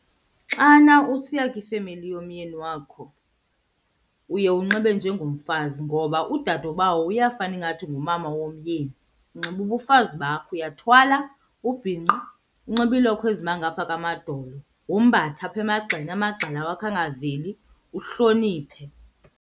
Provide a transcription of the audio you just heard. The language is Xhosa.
Xana usiya kwifemeli womyeni wakho uye unxibe njengomfazi ngoba udadobawo uyafana ingathi ngumama womyeni. Unxiba ubufazi bakho, uyathwala, ubhinqe, unxibe iilokhwe ezima ngapha kwamadolo, wombathe apha emagxeni amagxa la wakho angaveli, uhloniphe.